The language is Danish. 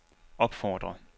opfordrer